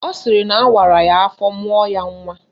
Ọ sịrị na awara ya afọ mụọ ya nnwa